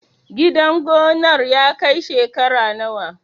Gidan gonar ya kai shekara nawa?